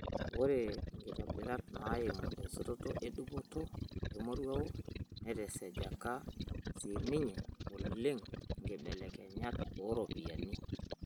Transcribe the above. Oree nkitobirat naaimu osetoto edupoto emoruao netesejeka sininye oleng nkibelekenyat ooropiyiani.